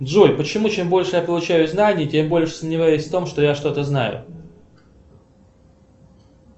джой почему чем больше я получаю знаний тем больше сомневаюсь в том что я что то знаю